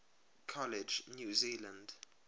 college new zealand